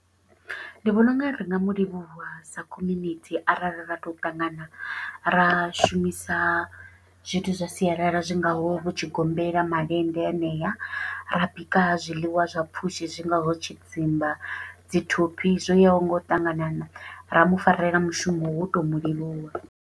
Ndi vhona unga ri nga mu livhuwa sa community arali ra to ṱangana, ra shumisa zwithu zwa sialala zwi ngaho vho tshigombela, malende hanea. Ra bika zwiḽiwa zwa pfushi zwi ngaho tshidzimba, dzi thophi, zwo yaho nga u ṱanganana. Ra mufarela mushumo, wo to mu livhuwa.